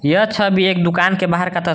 यह छवि एक दुकान के बाहर का तस्वीर--